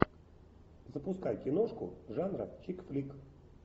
запускай киношку жанра чик флик